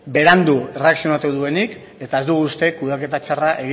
berandu erreakzionatu duenik eta ez dugu uste kudeaketa txarra